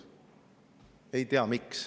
Ei tea, miks.